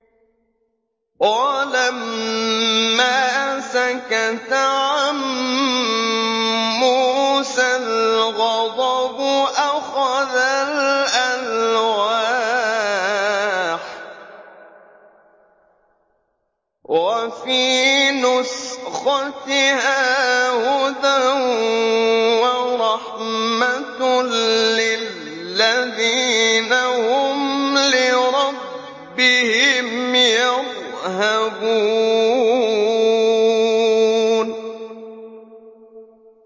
وَلَمَّا سَكَتَ عَن مُّوسَى الْغَضَبُ أَخَذَ الْأَلْوَاحَ ۖ وَفِي نُسْخَتِهَا هُدًى وَرَحْمَةٌ لِّلَّذِينَ هُمْ لِرَبِّهِمْ يَرْهَبُونَ